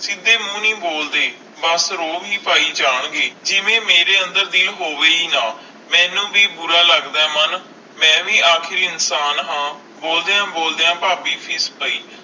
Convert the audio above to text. ਸੀਧੇ ਮੂੰਹ ਨਹੀਂ ਬੋਲਦੇ ਬਸ ਰੌਬ ਹੈ ਪੈ ਜਾਨ ਗਏ ਜਿਵੇ ਮੇਰੇ ਅੰਦਰ ਦਿਲ ਹੋਵੇ ਹੈ ਨਾ ਮੇਨੂ ਵੀ ਬੁਰਾ ਲੱਗਦਾ ਆਈ ਮਨ ਮਈ ਵੀ ਆਖਰ ਇਨਸਾਨ ਹੈ ਬੋਲਦਿਆਂ ਬਲੱਦਾ ਫਾਬੀ ਫੀਸ ਗਈ